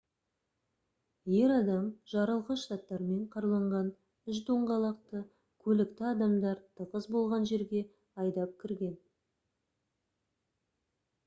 ер адам жарылғыш заттармен қаруланған үш доңғалақты көлікті адамдар тығыз болған жерге айдап кірген